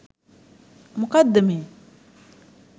මොකද්ද මේ